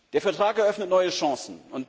Der Vertrag eröffnet neue Chancen.